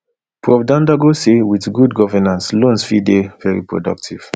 prof dandago say wit good govnance loans fit dey very productive